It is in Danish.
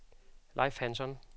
Leif Hansson